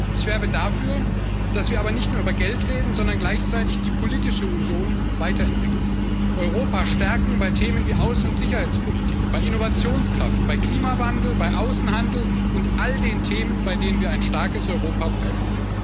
Ich werbe aber dafür, dass wir nicht nur über Geld reden, sondern gleichzeitig die politische Union weiterentwickeln, Europa stärken bei Themen wie Außen und Sicherheitspolitik, bei Innovationskraft, bei Klimawandel, bei Außenhandel und all den Themen, bei denen wir ein starkes Europa brauchen.